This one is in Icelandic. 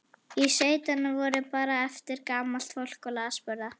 Í sveitunum voru bara eftir gamalt fólk og lasburða.